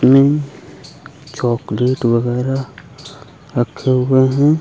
में चॉकलेट वगैरह रखे हुए हैं।